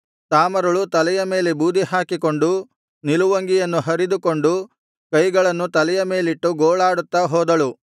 ತಾಮಾರಳು ತಲೆಯ ಮೇಲೆ ಬೂದಿ ಹಾಕಿಕೊಂಡು ನಿಲುವಂಗಿಯನ್ನು ಹರಿದುಕೊಂಡು ಕೈಗಳನ್ನು ತಲೆಯ ಮೇಲಿಟ್ಟು ಗೋಳಾಡುತ್ತಾ ಹೋದಳು